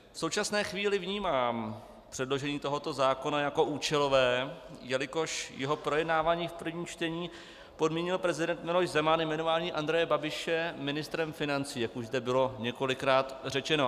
V současné chvíli vnímám předložení tohoto zákona jako účelové, jelikož jeho projednáváním v prvním čtení podmínil prezident Miloš Zeman jmenování Andreje Babiše ministrem financí, jak už zde bylo několikrát řečeno.